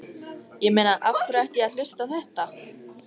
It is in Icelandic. Ég meina af hverju ætti ég að hlusta á þetta?